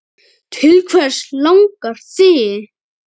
Til hvers langar þig?